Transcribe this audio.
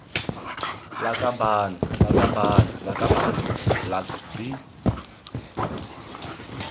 lakabaaan lakabaaan lakabane lak bi